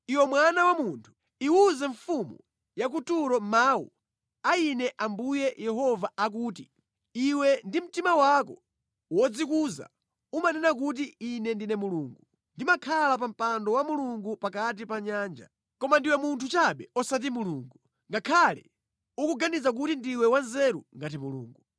“Iwe mwana wa munthu, iwuze mfumu ya ku Turo mawu a Ine Ambuye Yehova akuti, “ ‘Iwe ndi mtima wako wodzikuza umanena kuti, ‘Ine ndine mulungu; ndimakhala pa mpando wa mulungu pakati pa nyanja.’ Koma ndiwe munthu chabe osati mulungu, ngakhale ukuganiza kuti ndiwe wanzeru ngati mulungu.